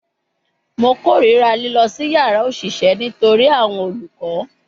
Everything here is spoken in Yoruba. Mo korira lilọ si yara oṣiṣẹ nitori awọn olukọ